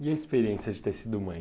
E a experiência de ter sido mãe?